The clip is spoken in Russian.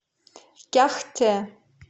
кяхте